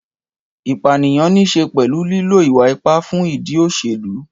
Ìpànìyàn ní í ṣe pẹ̀lú lílo ìwà ipá fún ìdí òṣèlú.